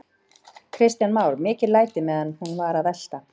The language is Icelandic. Kristján Már: Mikil læti meðan hún var að velta?